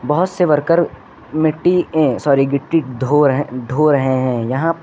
बहुत से वर्कर मिट्टी अह सॉरी गिट्टी ढो रहे ढो रहे हैं यहां पर--